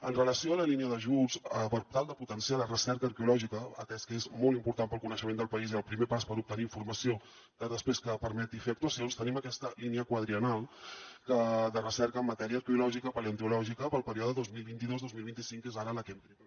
en relació amb la línia d’ajuts per tal de potenciar la recerca arqueològica atès que és molt important per al coneixement del país i el primer pas per obtenir informació després que permeti fer actuacions tenim aquesta línia quadriennal de recerca en matèria arqueològica paleontològica per al període dos mil vint dos dos mil vint cinc que és ara la que hem tret en aquests moments